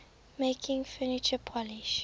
making furniture polish